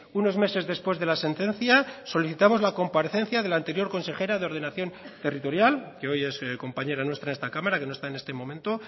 unos meses después de la sentencia solicitamos la comparecencia de la anterior consejera de ordenación territorial que hoy es compañera nuestra en esta cámara que no está en este momento